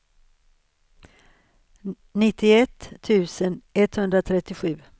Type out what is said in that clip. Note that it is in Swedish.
nittioett tusen etthundratrettiosju